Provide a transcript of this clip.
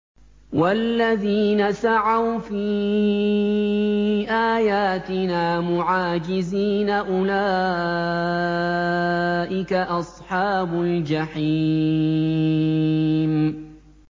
وَالَّذِينَ سَعَوْا فِي آيَاتِنَا مُعَاجِزِينَ أُولَٰئِكَ أَصْحَابُ الْجَحِيمِ